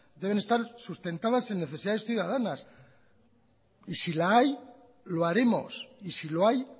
deben estar sustentadas en necesidades ciudadanas y si la hay lo haremos y si lo hay